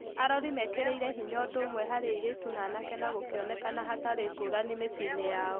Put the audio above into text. arori mekĩrĩire hinya ũndũũmwe harĩ airĩtu na anake na gũkĩonekana hatarĩ ngũrani mĩciĩnĩ yao.